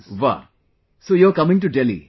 Wah, so you are coming to Delhi